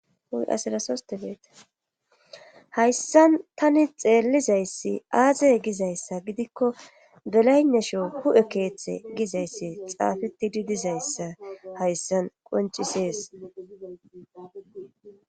huy asirasosteleeta hayssan tani xeellizayssi aazey gizayssa gidikko belaynasho hu7e keeththe gizayssi xaafeti didizayssa hayssan qoncisees